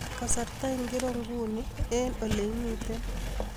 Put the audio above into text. Kasarta ingiro nguni eng oleimiten